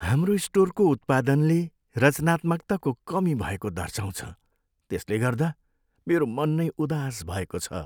हाम्रो स्टोरको उत्पादनले रचनात्मकताको कमी भएको दर्शाउँछ त्यसले गर्दा मेरो मन नै उदास भएको छ।